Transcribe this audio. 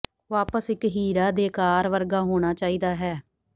ਵਾਪਸ ਇਕ ਹੀਰਾ ਦੇ ਆਕਾਰ ਵਰਗਾ ਹੋਣਾ ਚਾਹੀਦਾ ਹੈ